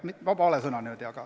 Vabandust, vale sõna!